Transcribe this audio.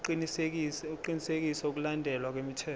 ukuqinisekisa ukulandelwa kwemithetho